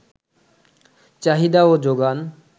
চাহিদা ও যোগান